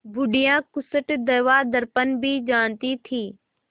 बुढ़िया खूसट दवादरपन भी जानती थी